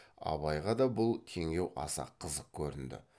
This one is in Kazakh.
абайға да бұл теңеу аса қызық көрінді